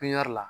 Pipiniyɛri la